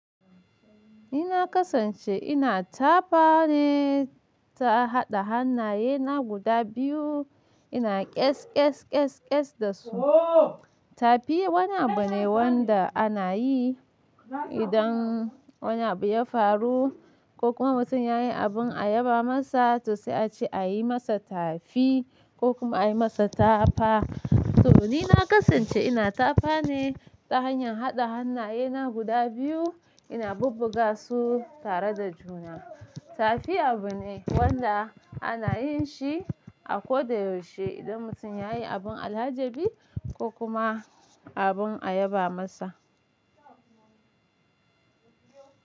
Ina kasance ina tafa ne ta haɗa hannayena guda biyu ina ƙes ƙes ƙes ƙes da su. Tafi wani abu ne wanda ana yi idan wani abu ya faru ko kuma mutum ya yi abin ayaba masa to sai a ce a yi masa tafi ko kuma a yi masa tafa. To ni na kasance ina tafa ne ta hanyar haɗa hannayena guda biyu ina bubbuga su tare da juna. Tafi abu ne wanda ana yin shi a koda yaushe idan mutum ya yi abin alhaji bi ko kuma abin ayaba masa.